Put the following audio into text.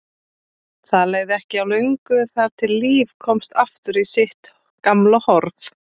Það leið ekki á löngu þar til lífið komst aftur í sitt gamla horf.